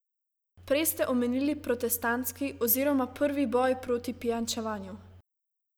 Prej ste omenili protestantski oziroma prvi boj proti pijančevanju.